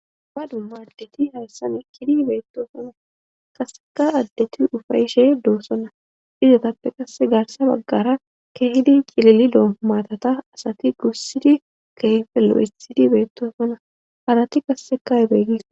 Dumma dumma addeti hayssan eqqidi beettosona kasseka addeti ufayishe doosona izatappe qasse gaarsa baggara keehidi cililido maatata asati gussidi kehfelo7esidi beettosona harati qassekabeegiko.